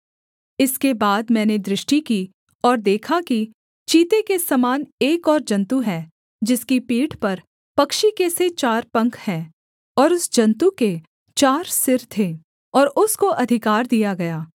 इसके बाद मैंने दृष्टि की और देखा कि चीते के समान एक और जन्तु है जिसकी पीठ पर पक्षी के से चार पंख हैं और उस जन्तु के चार सिर थे और उसको अधिकार दिया गया